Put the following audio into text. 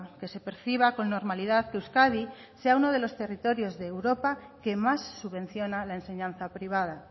que se perciba con normalidad que euskadi sea uno de los territorios de europa que más subvenciona la enseñanza privada